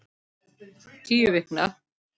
Tíu vikna